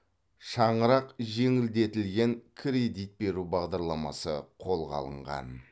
шаңырақ жеңілдетілген кредит беру бағдарламасы қолға алынған